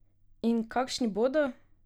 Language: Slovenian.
In kakšni bodo?